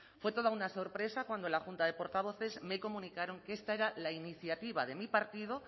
fue toda una sorpresa cuando la junta de portavoces me comunicó que esta era la iniciativa de mi partido